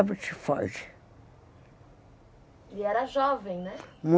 Febre tifoide. E era jovem, né?